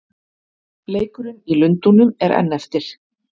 Leikurinn í Lundúnum er enn eftir.